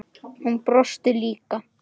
Hún brosti líka.